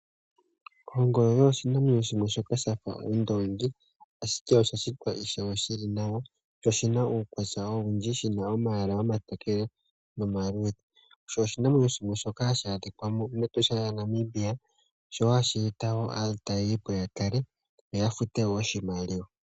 Ongolo oyo oshinamwenyo shimwe shoka sha fa ondoongi, ashike osha shitwa ishewe shi li nawa sho shi na uukwatya owundji, shi na omayala omatokele nomaluudhe. Sho oshinamwenyo shimwe hashi adhika mEtosha lyaNamibia, sho ohashi eta wo aatalelipo ya tale yo ya fute wo oshimaliwa.